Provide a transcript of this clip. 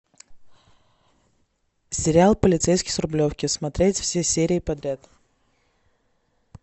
сериал полицейский с рублевки смотреть все серии подряд